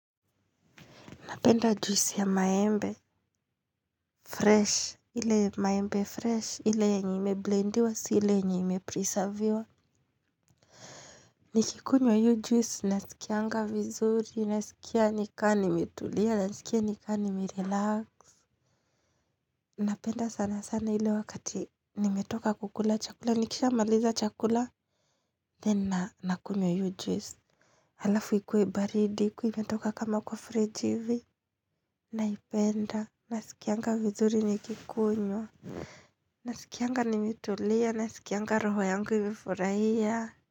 Napenda juisi ya maembe. Fresh. Ile maembe fresh. Ile yenye imeblendiwa. Si ile yenye imeprisaviwa. Nikikunywa hio juice. Nasikianga vizuri. Nasikia nikama nimetulia. Nasikia nika nimerelax. Napenda sana sana ile wakati nimetoka kukula chakula. Nikishamaliza chakula. Then nakunywa hio juice. Alafu ikue baridi. Ikiwa imetoka kama kwa friji ivi. Naipenda. Nasikia nga vizuri nikikunyo. Naskianga nimetulia. Naskianga roho yangu imefurahia.